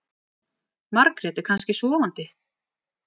Margrét er kannski sofandi.